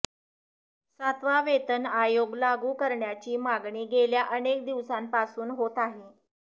सातवा वेतन आयोग लागू करण्याची मागणी गेल्या अनेक दिवसांपासून होत आहे